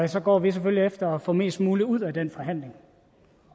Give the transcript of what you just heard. så går vi selvfølgelig efter få mest muligt ud af den forhandling